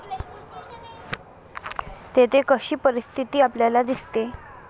तेथे कशी परिस्थिती आपल्याला दिसते?